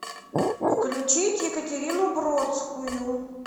включить екатерину бродскую